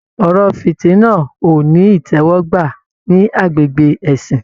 Ọ̀rọ̀ fitina o ní itẹwọgbà ní agbègbè ẹ̀sìn.